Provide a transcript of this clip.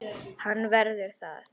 Hann verður það.